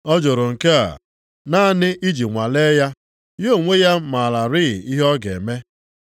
Ọ jụrụ nke a naanị iji nwalee ya, ya onwe ya mararị ihe ọ ga-eme.